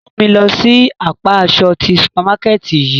Mu mi lọ si apa aṣọ ti supamakẹti yii!